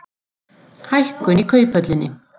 Hækkun í Kauphöllinni